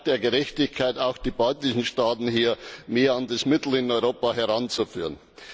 Es ist ein Akt der Gerechtigkeit, auch die baltischen Staaten hier mehr an das Mittel in Europa heranzuführen.